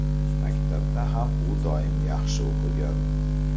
Maktabda ham u doim yaxshi o‘qigan.